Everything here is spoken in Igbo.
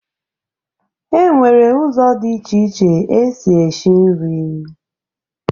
E nwere ụzọ dị iche iche esi eshi nri